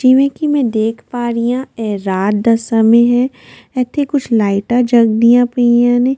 ਜਿਵੇਂ ਕਿ ਮੈਂ ਦੇਖ ਪਾ ਰਹੀ ਹਾਂ ਇਹ ਰਾਤ ਦਾ ਸਮੇਂ ਹੈ ਇੱਥੇ ਕੁੱਝ ਲਾਈਟਾਂ ਜਗਦੀਆਂ ਪਈਆਂ ਨੇ।